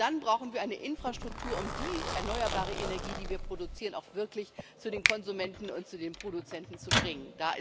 Und dann brauchen wir eine Infrastruktur, um die erneuerbare Energie, die wir produzieren, auch wirklich zu den Konsumenten und zu den Produzenten zu bringen.